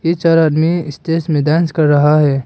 तीन चार आदमी स्टेज में डांस कर रहा है।